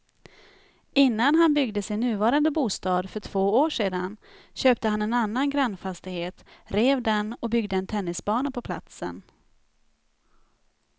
Innan han byggde sin nuvarande bostad för två år sedan köpte han en annan grannfastighet, rev den och byggde en tennisbana på platsen.